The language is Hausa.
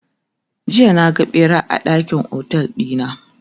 jiya na ga ɓera a ɗakin otel ɗina